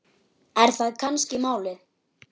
Er það kannski málið?